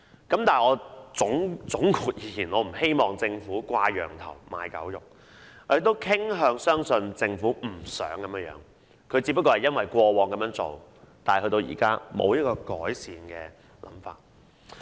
但是，總括而言，我不希望政府"掛羊頭賣狗肉"，我也傾向相信政府不想這樣做的，只是因為過往曾這樣做，現在沒有改善的辦法。